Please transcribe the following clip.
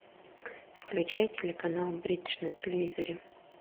включай телеканал бридж на телевизоре